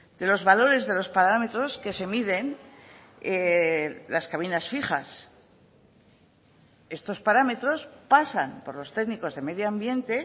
de los valores de los parámetros que se miden las cabinas fijas estos parámetros pasan por los técnicos de medio ambiente